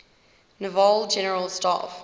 naval general staff